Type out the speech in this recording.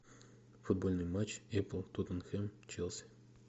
футбольный матч апл тоттенхэм челси